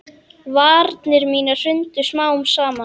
Varnir mínar hrundu smám saman.